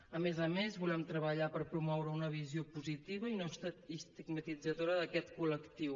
a més a més volem treballar per promoure una visió positiva i no estigmatitzadora d’aquest col·lectiu